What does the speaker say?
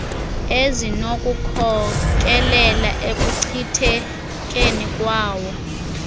ezinokukhokelela ekuchithekeni kwalawo